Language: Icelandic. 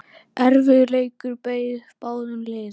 Erfiður leikur beið báðum liðum.